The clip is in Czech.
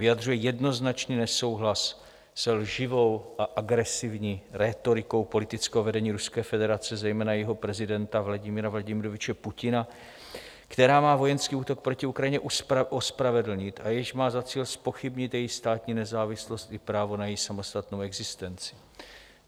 Vyjadřuje jednoznačný nesouhlas se lživou a agresivní rétorikou politického vedení Ruské federace, zejména jejího prezidenta Vladimira Vladimiroviče Putina, která má vojenský útok proti Ukrajině ospravedlnit a jež má za cíl zpochybnit její státní nezávislost i právo na její samostatnou existenci.